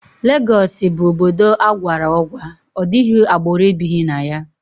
Legọọsị bụ obodo agwara ọgwa, ọdịghị agbụrụ ebighi na ya